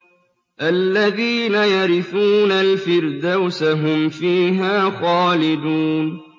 الَّذِينَ يَرِثُونَ الْفِرْدَوْسَ هُمْ فِيهَا خَالِدُونَ